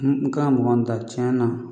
N kan mɔgɔ min ta tiɲɛ na